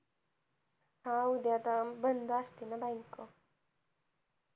हा उद्या आता बंद असते bank